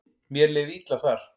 Mér leið illa þar.